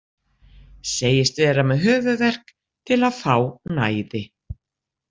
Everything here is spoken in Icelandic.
Segist vera með höfuðverk til að fá næði.